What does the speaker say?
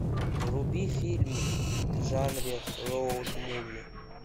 вруби фильм в жанре роуд муви